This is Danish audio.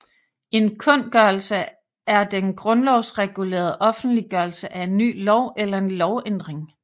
En kundgørelse er den grundlovsregulerede offentliggørelse af en ny lov eller en lovændring